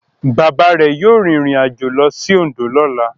Bàbá rẹ̀ yóò rìnrìnàjò lọ sí Oǹdó lọ́la.